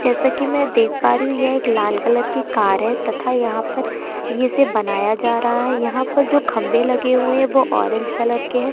जैसा की मैं देख पा रही हूँ यह एक लाल कलर की कार है तथा यहाँ पर ये इसे बनाया जा रहा है। यहाँ पर जो खम्भे लगे हुए हैं वो ऑरेंज कलर के हैं।